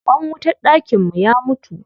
Ƙwan wutar dakin mu ya mutu.